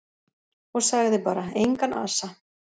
Og sagði bara: Engan asa.